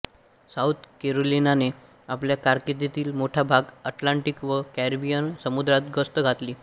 south कॅरोलिनाने आपल्या कारकीर्दीतील मोठा भाग अटलांटिक व कॅरिबियन समुद्रांत गस्त घातली